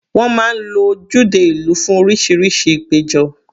Wọ́n máa ń lo ojúde ìlú fún oríṣiríṣi ìpéjọ.